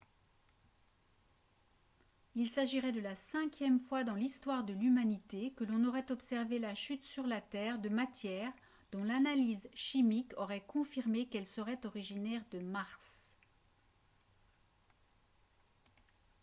il s'agirait de la cinquième fois dans l'histoire de l'humanité que l'on aurait observé la chute sur la terre de matières dont l'analyse chimique aurait confirmé qu'elles seraient originaires de mars